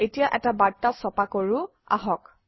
এতিয়া এটা বাৰ্তা ছপা কৰোঁ আহক